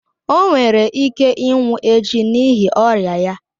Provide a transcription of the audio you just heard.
O nwere ike ịnwụ echi n’ihi ọrịa ya.